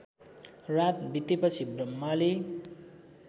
रात बितेपछि ब्रह्माले